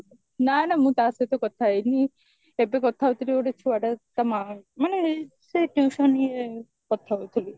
ନାଁ ନାଁ ମୁଁ ତା ସହିତ କଥା ହେଇନି ଏବେ କଥା ହଉଥିଲି ଗୋଟେ ଛୁଆଟା ତା ମା ମାନେ ଏଇ ସେଇ tuition ଇଏ କଥା ହଉଥିଲି